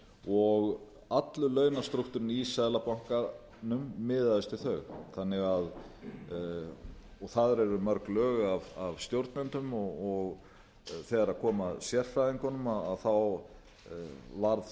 og allur launastrúktúrinn í seðlabankanum miðaðist við þau þannig að þar eru mörg lög af stjórnendum og þegar kom að sérfræðingunum varð